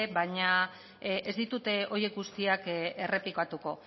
baina ez ditut horiek guztiak errepikatuko